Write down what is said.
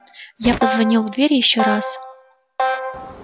я позвонил в дверь ещё раз